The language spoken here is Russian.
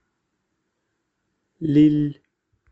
лилль